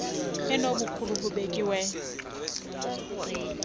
enobo bukhulu bubekiweyo